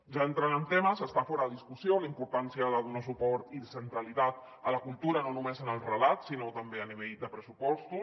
ja entrant en temes està fora de discussió la importància de donar suport i centralitat a la cultura no només en el relat sinó també a nivell de pressupostos